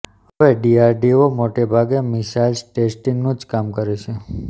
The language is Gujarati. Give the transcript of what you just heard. હવે ડીઆરડીઓ મોટે ભાગે મિસાઈલ્સ ટેસ્ટિંગનું જ કામ કરે છે